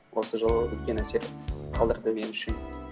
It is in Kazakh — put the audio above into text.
осы жылы үлкен әсер қалдырды мен үшін